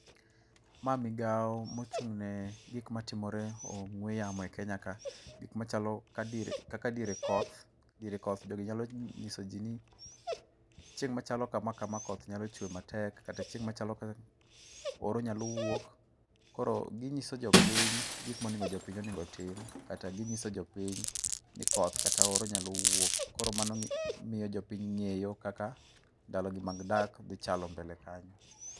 Mae migao mochung'ne gik matimore e ong'ue yamo e Kenya kae. Gik matimore kaka dier kaka diere koth, diere koth jogi nyalo nyisoji ni chieng' machalo kama kama koth nyalo chwe matek kata chieng' machalo kama oro nyalo wuok, koro ginyiso jopiny gik monego jopiny otim. Kata ginyiso jopiny ni koth kata oro nyalo wuok. Koro mano miyo jopiny ng'eyo kaka ndalo gi mag dak dhi chalo mbele kanyo.